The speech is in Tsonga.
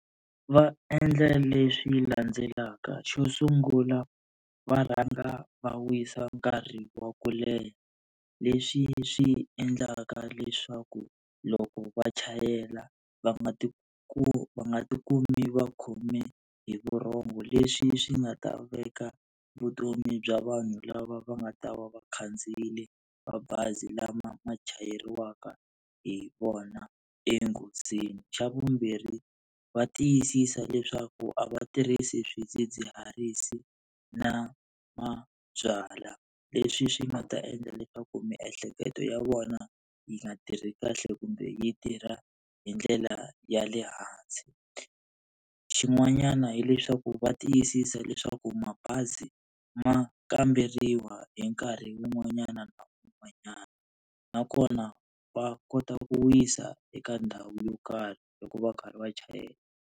Va endla leswi landzelaka xo sungula va rhanga va wisa nkarhi wa ku leha, leswi swi endlaka leswaku loko va chayela va nga ti va nga tikumi va khome hi vurhongo leswi swi nga ta veka vutomi bya vanhu lava va nga ta va va khandziyile mabazi lama ma chayeriwaka hi vona enghozini. Xa vumbirhi va tiyisisa leswaku a va tirhisi swidzidziharisi na mabyalwa leswi swi nga ta endla leswaku miehleketo ya vona yi nga tirhi kahle kumbe yi tirha hi ndlela ya le hansi. Xin'wanyana hileswaku va tiyisisa leswaku mabazi ma kamberiwa hi nkarhi wun'wanyana na un'wanyana nakona va kota ku wisa eka ndhawu yo karhi loko va karhi va chayela.